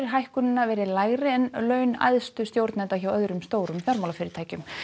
hækkunina verið lægri en laun æðstu stjórnenda hjá öðrum stórum fjármálafyrirtækjum